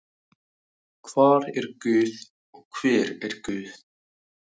Hvar er guð og hver er guð?